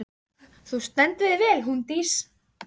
Nú, við verðum auðvitað að tékka á þessu.